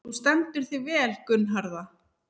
Þú stendur þig vel, Gunnharða!